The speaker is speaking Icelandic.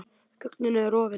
Þögnin er rofin.